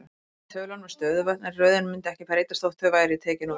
Inni í tölunum eru stöðuvötn, en röðin mundi ekki breytast þótt þau væru tekin út.